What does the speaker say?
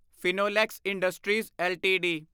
Finolex industries LTD